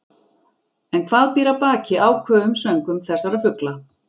En hvað býr að baki áköfum söngvum þessara fugla?